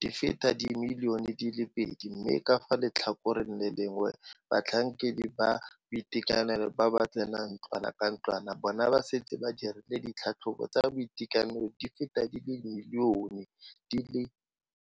di feta di le dimilione di le pedi mme ka fa letlhakoreng le lengwe batlhankedi ba boitekanelo ba ba tsenang ntlwana ka ntlwana bona ba setse ba dirile ditlhatlhobo tsa boitekanelo di feta di le dimilione di le.